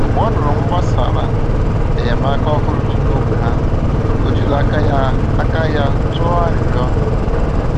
Mgbe ọ nụrụ gbasàrà enyémàkà òhùrù dị n’ógbè ha, ó jìrò aka ya aka ya tụọ arịrịọ.